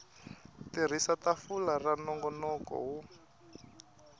tirhisa tafula ra nongonoko wo